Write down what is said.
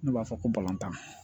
N'u b'a fɔ ko tan